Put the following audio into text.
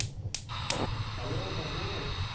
hello Dharmesh